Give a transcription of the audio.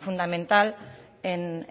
fundamental en